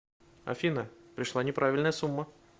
афина пришла неправильная сумма